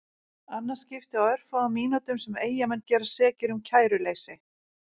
Annað skiptið á örfáum mínútum sem Eyjamenn gerast sekir um kæruleysi.